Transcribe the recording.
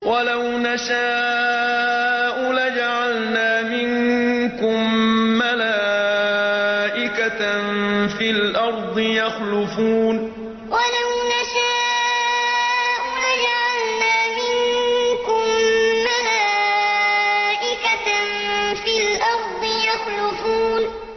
وَلَوْ نَشَاءُ لَجَعَلْنَا مِنكُم مَّلَائِكَةً فِي الْأَرْضِ يَخْلُفُونَ وَلَوْ نَشَاءُ لَجَعَلْنَا مِنكُم مَّلَائِكَةً فِي الْأَرْضِ يَخْلُفُونَ